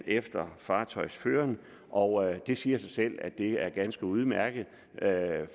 efter fartøjsføreren og det siger sig selv at det er ganske udmærket